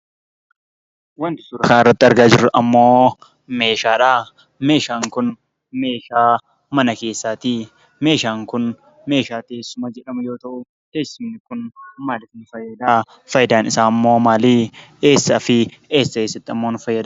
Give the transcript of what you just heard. Wanti suuraa kana irratti argaa jirru ammoo meeshaadha. Meeshaan kun meeshaa mana keessaatii. Meeshaan kun meeshaa teessuma jedhamu yeroo taa'u, teessumni kun maaliif nu fayyada? Faayidaan isaa ammoo maalii? Eessafi eessa eessatti ammoo nufayyada?